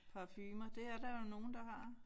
Parfumer det er der jo nogle der har